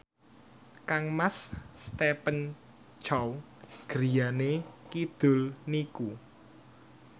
kangmas Stephen Chow griyane kidul niku